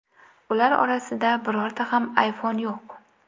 Ular orasida birorta ham iPhone yo‘q.